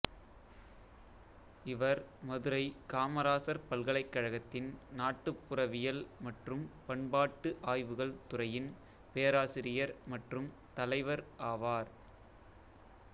இவர் மதுரை காமராசர் பல்கலைக்கழகத்தின் நாட்டுப்புறவியல் மற்றும் பண்பாட்டு ஆய்வுகள் துறையின் பேராசிரியர் மற்றும் தலைவர் ஆவார்